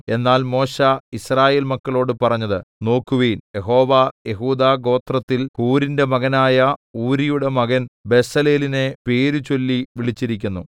എന്നാൽ മോശെ യിസ്രായേൽ മക്കളോട് പറഞ്ഞത് നോക്കുവിൻ യഹോവ യെഹൂദാഗോത്രത്തിൽ ഹൂരിന്റെ മകനായ ഊരിയുടെ മകൻ ബെസലേലിനെ പേരുചൊല്ലി വിളിച്ചിരിക്കുന്നു